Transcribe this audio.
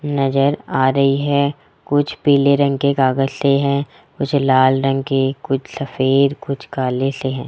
नजर आ रही है कुछ पीले रंग के कागज से हैं कुछ लाल रंग के कुछ सफेद कुछ काले से हैं।